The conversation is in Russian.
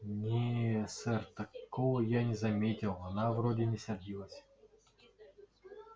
не сэр такого я не заметил она вроде не сердилась